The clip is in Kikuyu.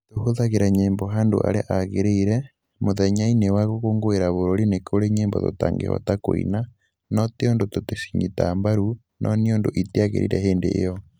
Tũhũthagĩra nyĩmbo handũ harĩa hagĩrĩire, mũthenya-inĩ wa gũkũngũĩra bũrũri nĩ kũrĩ nyĩmbo tũtangĩhota kũina, no tĩ ũndũ tũticinyitaga mbaru, no nĩ ũndũ itiagĩrĩire hĩndĩ io.